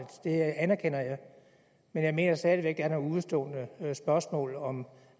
det anerkender jeg men jeg mener stadig væk der er nogle udestående spørgsmål om